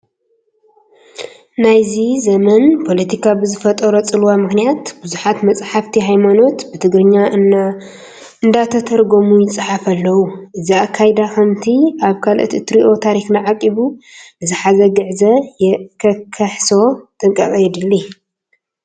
ናይዚ ዘመን ፖለቲካ ብዝፈጠሮ ፅልዋ ምኽንያት ብዙሓት መጻሕፍቲ ሃይማኖት ብትግርኛ እንዳተተርጎሙ ይፀሓፉ ኣለዉ፡፡ እዚ ኣካይዳ ከምቲ ኣብ ካልኦት እንሪኦ ታሪክና ዓቂቡ ንዝሓዘ ግዕዝ ከየሕስሶ ጥንቃቐ የድሊ፡፡